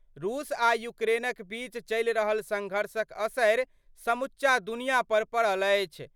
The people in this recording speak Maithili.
रूस आ यूक्रेनक बीच चलि रहल संघर्षक असरि समूचा दुनियां पर पड़ल अछि।